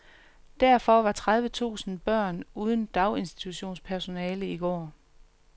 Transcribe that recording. Derfor var tredive tusind børn uden daginstitutionspersonale i går.